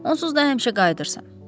Onsuz da həmişə qayıdırsan.